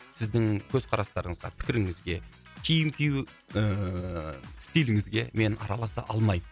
сіздің көзқарастарыңызға пікіріңізге киім кию ііі стиліңізге мен араласа алмаймын